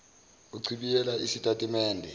uchibiyele isitati mende